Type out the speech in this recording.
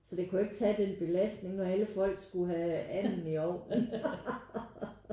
Så det kunne jo ikke tage den belastning når alle folk skulle have anden ned i ovnen